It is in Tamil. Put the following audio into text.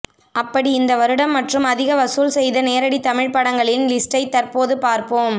அப்படி இந்த வருடம் மற்றும் அதிக வசூல் செய்த நேரடி தமிழ் படங்கலின் லிஸ்ட்டை தற்போது பார்ப்போம்